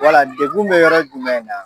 Wala dekun bɛ yɔrɔ jumɛn na?